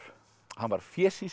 hann var